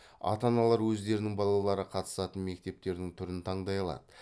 ата аналар өздерінің балалары қатысатын мектептің түрін таңдай алады